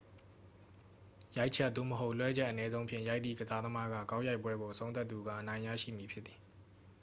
ရိုက်ချက် သို့မဟုတ် လွှဲချက် အနည်းဆုံးဖြင့် ရိုက်သည့် ကစားသမားက ဂေါက်ရိုက်ပွဲကို အဆုံးသတ်သူက အနိုင်ရရှိမည်ဖြစ်သည်